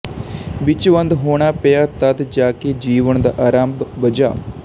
ਵਿੱਚ ਬੰਦ ਹੋਣਾ ਪਿਆ ਤਦ ਜਾ ਕੇ ਜੀਵਨ ਦਾ ਆਰੰਭ ਬੱਝਾ